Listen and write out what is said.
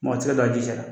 Mɔgɔ tɛ se ka ji sari